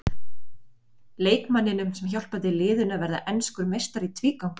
Leikmanninum sem hjálpaði liðinu að verða enskur meistari í tvígang?